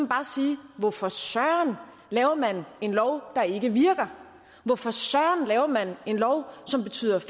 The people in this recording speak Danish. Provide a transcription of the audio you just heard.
bare sige hvorfor søren laver man en lov der ikke virker hvorfor søren laver man en lov som betyder at